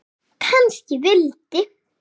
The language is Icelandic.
Kannski vildi